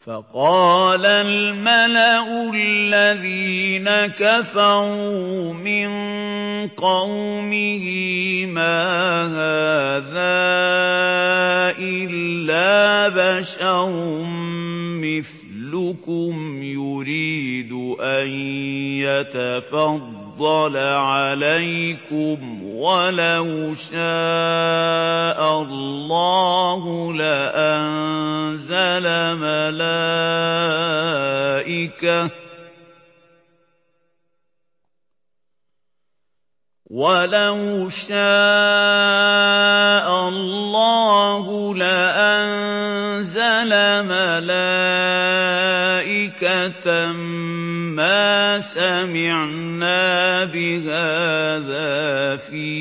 فَقَالَ الْمَلَأُ الَّذِينَ كَفَرُوا مِن قَوْمِهِ مَا هَٰذَا إِلَّا بَشَرٌ مِّثْلُكُمْ يُرِيدُ أَن يَتَفَضَّلَ عَلَيْكُمْ وَلَوْ شَاءَ اللَّهُ لَأَنزَلَ مَلَائِكَةً مَّا سَمِعْنَا بِهَٰذَا فِي